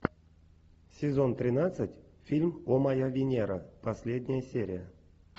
сезон тринадцать фильм о моя венера последняя серия